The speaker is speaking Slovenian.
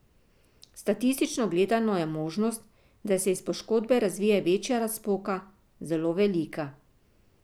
Statistično gledano je možnost, da se iz poškodbe razvije večja razpoka, zelo velika.